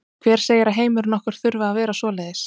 Hver segir að heimurinn okkar þurfi að vera svoleiðis?